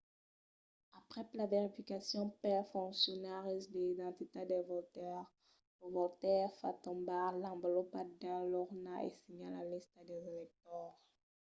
aprèp la verificacion pels foncionaris de l’identitat del votaire lo votaire fa tombar l’envolopa dins l'urna e signa la lista dels electors